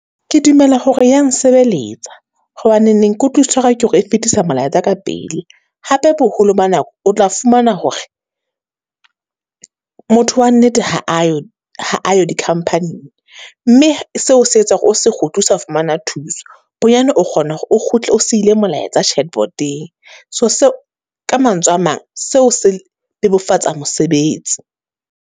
Ke dumela hore e ya nsebeletsa, hobaneneng ke utlwisiso ya ka ke hore e fetisa melaetsa ka pele. Hape boholo ba nako o tla fumana hore, motho wa nnete ha ayo, ha ayo di-company-ng. Mme seo se etsa hore o se kgutli osa fumana thuso. Bonyane o kgona hore o kgutle o siile molaetsa . So seo, ka mantswe a mang, seo se bebofatsa mosebetsi.